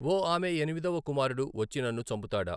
ఓ ఆమె ఎనిమిదవ కుమారుడు వచ్చి నన్ను చంపుతాడా?